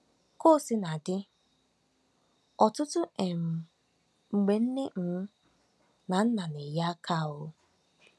Ka o sina dị, ọtụtụ um mgbe nne um na nna na-enye aka um.